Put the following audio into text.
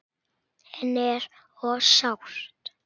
En er of sárt.